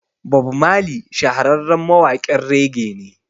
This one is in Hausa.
Bob Marley shahararren mawaƙin rege ne